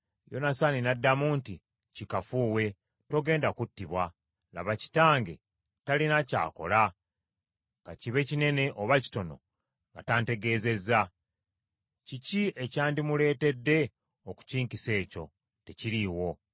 Yonasaani n’addamu nti, “Kikafuuwe! Togenda kuttibwa. Laba kitange talina ky’akola, kakibe kinene oba kitono, nga tantegeezezza. Kiki ekyandimuleetedde okukinkisa ekyo? Tekiriiwo.”